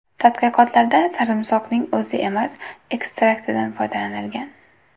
Tadqiqotlarda sarimsoqning o‘zi emas, ekstraktidan foydalanilgan.